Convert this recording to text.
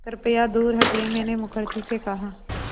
कृपया दूर हटिये मैंने मुखर्जी से कहा